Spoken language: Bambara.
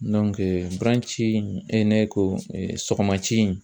e ne ko sɔgɔma ci